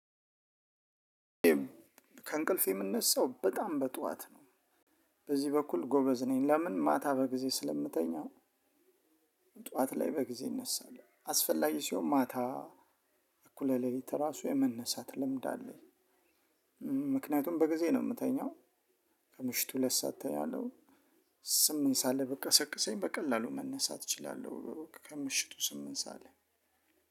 ከእንቅልፍ የምነሳው በጣም በጧት ነው። በዚህ በኩል ጎበዝ ነኝ። ለምን ማታ በጊዜ ስለምተኛው ጠዋት ላይ በጊዜ እነሳለሁ። አስፈላጊ ሲሆን ማታ አኩለሌት ራሱ የመነሳት ልምድ አለኝ። ምክንያቱም በጊዜ ነው የምተኛው። ከምሽቱ ሁለት ሰዓት እተኛለው ስምንት ሰዓት ላይ ብትቀሰቅሰኝ በቀላሉ መነሳት እችላለሁ። ከምሽቱ ስምንት ላይ-